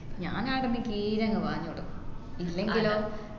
ഞാൻ ആടന്നു കീഞ്ഞങ്ങു പാഞ്ഞുളും ഇല്ലെങ്കിലോ